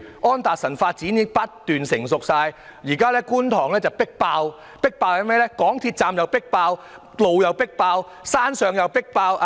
安達臣發展已經不斷成熟，而觀塘亦已"迫爆"——港鐵站"迫爆"、道路"迫爆"、住宅樓宇"迫爆"。